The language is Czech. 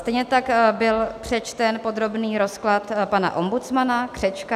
Stejně tak byl přečten podrobný rozklad pan ombudsmana Křečka -